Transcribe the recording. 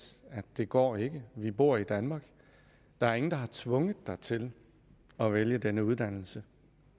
det går ikke vi bor i danmark der er ingen der har tvunget dig til at vælge den uddannelse